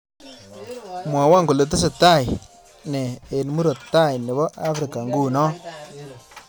Mwawon kole tesetaine eng murop tai nebo afrika nguno